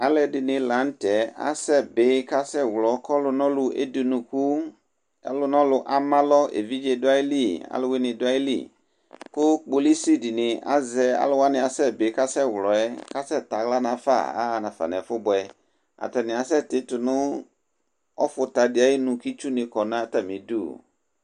Alu ɛdɩnɩ la nʋ tɛ asɛbɩ, kʋ asɛwlɔ, kʋ ɔlʋnɔlʋ edunuku, ɔlʋnɔlʋ amalɔ: evidze du ayili, aluwini du ayili Kʋ kpolusi dini azɛ alu wani asɛbɩ kʋ asɛwlɔ yɛ, kʋ asɛ tɛaɣla nafa, ayaɣa nafa nʋ ɛfʋbʋɛ Atani asɛti tʋ nʋ ɔfuta di ayʋ ɩnʋ, kʋ itsu ni kɔ nʋ atamidu